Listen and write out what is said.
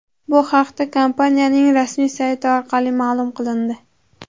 Bu haqda kompaniyaning rasmiy sayti orqali ma’lum qilindi .